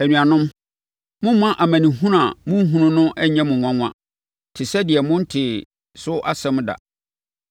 Anuanom, mommma amanehunu a morehunu no nnyɛ mo nwanwa te sɛ deɛ montee so asɛm da.